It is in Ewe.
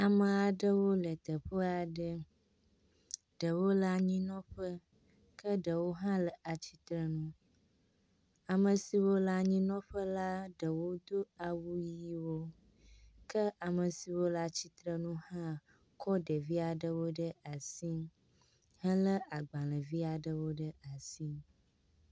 Ame aɖewo le teƒe aɖe, ɖewo le anyinɔƒe ke ɖewo hã le atsitre nu, ame siwo le anyinɔƒe la, ɖewo do awu ɣiwo ke ame siwo le atsitre nu hã kɔ ɖevi aɖewo ɖe asi hele agbalẽvi aɖewo ɖe asi.